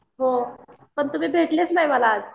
हो, पण तुम्ही भेटलेच नाही मला आज.